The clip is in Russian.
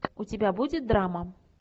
у тебя будет драма